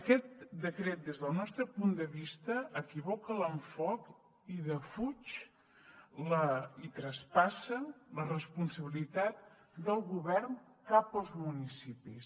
aquest decret des del nostre punt de vista equivoca l’enfocament i defuig i traspassa la responsabilitat del govern cap als municipis